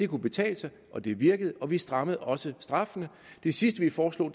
kunne betale sig og det virkede og vi strammede også straffene det sidste vi foreslog